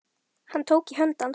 Hann tók í hönd hans.